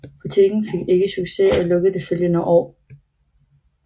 Butikken fik ikke succes og lukkede det følgende år